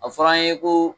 A fɔra an ye ko